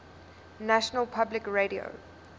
national public radio